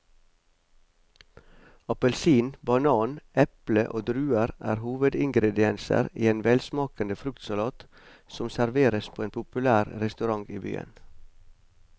Appelsin, banan, eple og druer er hovedingredienser i en velsmakende fruktsalat som serveres på en populær restaurant i byen.